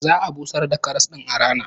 Za'a busar da kasar din a rana